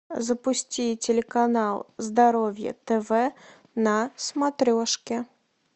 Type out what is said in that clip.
запусти телеканал здоровье тв на смотрешке